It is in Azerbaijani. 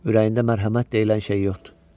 Ürəyində mərhəmət deyilən şey yoxdur.